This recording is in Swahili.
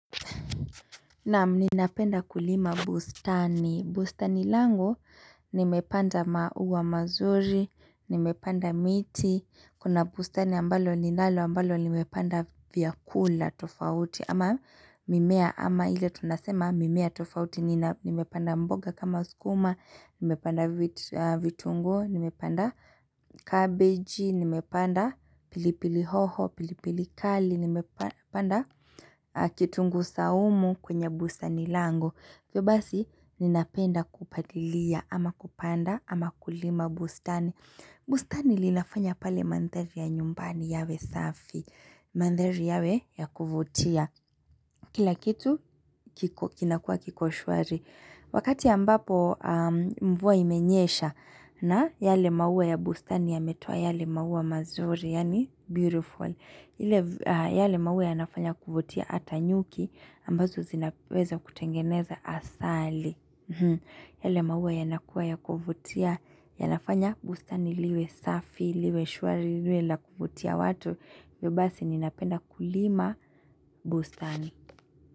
Naam ninapenda kulima bustani, bustani langu nimepanda mauwa mazuri, nimepanda miti, kuna bustani ambalo ninalo ambalo nimepanda vyakula tofauti ama mimea ama ile tunasema mimea tofauti nimepanda mboga kama skuma, nimepanda vitunguu, nimepanda cabbage, nimepanda pilipili hoho, pilipili kali, nimepanda kitungu saumu kwenye bustani langu hivyo basi ninapenda kupalilia ama kupanda ama kulima bustani bustani linafanya pale mandhari ya nyumbani yawe safi Mandhari yawe ya kuvutia Kila kitu kinakua kiko shwari Wakati ambapo mvua imenyesha, na yale maua ya bustani yametoa yale maua mazuri Yani beautiful yale maua yanafanya kuvutia hata nyuki ambazo zinaweza kutengeneza asali yale maua yanakuwa ya kuvutia yanafanya bustani liwe safi liwe shwari liwe la kuvutia watu hivyyo basi ninapenda kulima bustani.